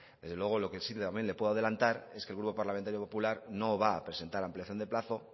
desde luego lo que sí también le puedo adelantar es que el grupo parlamentario popular no va a presentar ampliación de plazo